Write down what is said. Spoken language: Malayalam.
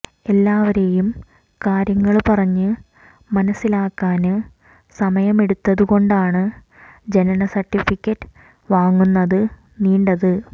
എല്ലാവരെയും കാര്യങ്ങള് പറഞ്ഞ് മനസിലാക്കാന് സമയമെടുത്തതുകൊണ്ടാണ് ജനന സര്ട്ടിഫിക്കറ്റ് വാങ്ങുന്നതു നീണ്ടത്